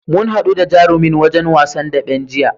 Mu haɗu da jarumin wasan daɓen jiya.